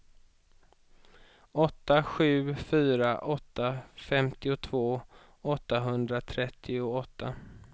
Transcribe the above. åtta sju fyra åtta femtiotvå åttahundratrettioåtta